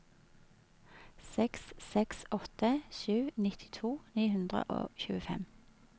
seks seks åtte sju nittito ni hundre og tjuefem